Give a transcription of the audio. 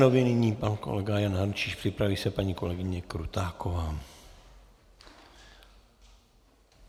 Nyní pan kolega Jan Hrnčíř, připraví se paní kolegyně Krutáková.